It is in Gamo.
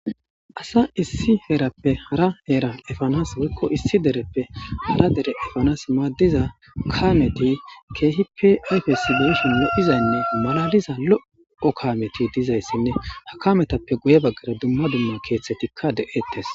asa issi heerappe hara heera efanas woykko issi dereppe hara dere efanas maaddiza kaameti keehippe ayfesi bo7ishin yodhizaynne malaliza lo7o kameti dizayssinne ha kametappe guye baggara dumma dumma keeththetikka de7ettes